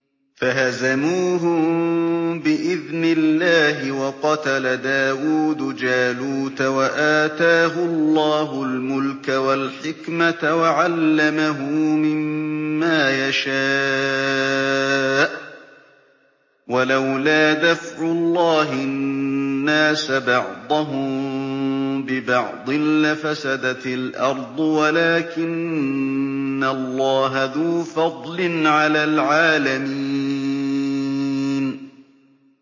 فَهَزَمُوهُم بِإِذْنِ اللَّهِ وَقَتَلَ دَاوُودُ جَالُوتَ وَآتَاهُ اللَّهُ الْمُلْكَ وَالْحِكْمَةَ وَعَلَّمَهُ مِمَّا يَشَاءُ ۗ وَلَوْلَا دَفْعُ اللَّهِ النَّاسَ بَعْضَهُم بِبَعْضٍ لَّفَسَدَتِ الْأَرْضُ وَلَٰكِنَّ اللَّهَ ذُو فَضْلٍ عَلَى الْعَالَمِينَ